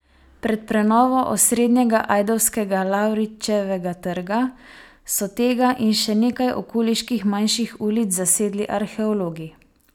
Pred prenovo osrednjega ajdovskega Lavričevega trga so tega in še nekaj okoliških manjših ulic zasedli arheologi.